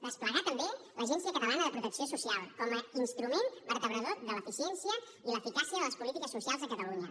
desplegar també l’agència catalana de protecció social com a instrument vertebrador de l’eficiència i l’eficàcia de les polítiques socials a catalunya